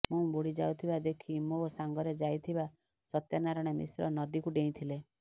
ମୁଁ ବୁଡ଼ି ଯାଉଥିବା ଦେଖି ମୋ ସାଙ୍ଗରେ ଯାଇଥିବା ସତ୍ୟନାରାୟଣ ମିଶ୍ର ନଦୀକୁ ଡେଇଁଥିଲେ